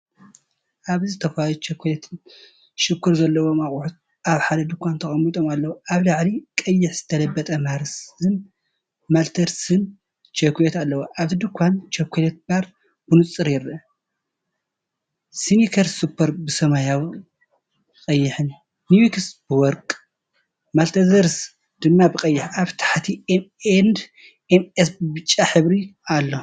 ኣብዚ ዝተፈላለዩ ቸኮሌትን ሽኮርን ዘለዎም ኣቑሑት ኣብ ሓደ ድኳን ተቐሚጦም ኣለዉ። ኣብ ላዕሊ ቀይሕ ዝተለበጠ“ማርስ”ን “ማልተሰርስ”ንቸኮሌት ኣለው። ኣብቲ ድኳን፡ቸኮሌት ባር ብንጹር ይርአ፡ ስኒከርስ ሱፐር ብሰማያውን ቀይሕን፡ ትዊክስ ብወርቅ፡ማልተዘርስ ድማ ብቐይሕ። ኣብ ታሕቲ፡ኤም ኤንድ ኤም'ስ ብብጫ ሕብሪ ኣሎ።